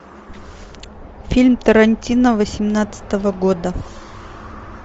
фильм тарантино восемнадцатого года